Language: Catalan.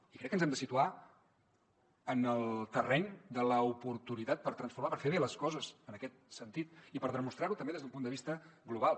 i crec que ens hem de situar en el terreny de l’oportunitat per transformar per fer bé les coses en aquest sentit i per demostrar ho també des d’un punt de vista global